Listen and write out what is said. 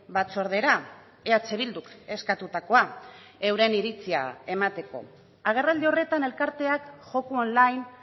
batzordera eh bilduk eskatutakoa euren iritzia emateko agerraldi horretan elkarteak joko online